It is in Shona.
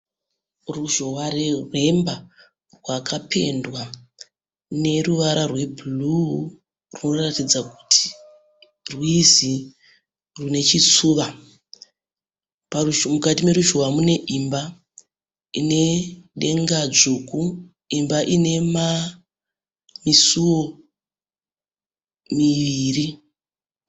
Ruzhowa rwemba rwakapendwa neruvara rwe bhuruu runoratzda kuti rwizi rune chitsuva. Mukati meruzhowa mune imba ine denga dzvuku. Imba ine misiwo miviri.